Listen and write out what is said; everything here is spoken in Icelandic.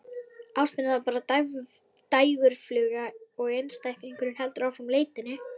Ástin er þá bara dægurfluga og einstaklingurinn heldur áfram leitinni.